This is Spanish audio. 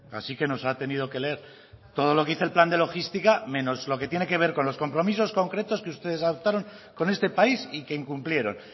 así que nos ha tenido que leer todo lo que dice el plan de logística menos lo que tiene que ver con los compromisos concretos que ustedes adoptaron con este país y que incumplieron